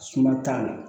Suma t'a la